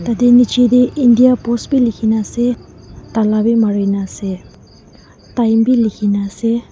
Tateh nechidae India Post bhi lekhina ase tala bhi marena ase time bhi lekhena ase.